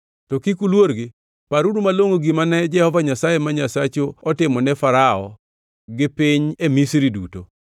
To kik uluorgi; paruru malongʼo gima ne Jehova Nyasaye ma Nyasachu otimone Farao gi piny e Misri duto.